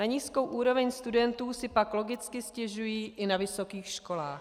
Na nízkou úroveň studentů si pak logicky stěžují i na vysokých školách.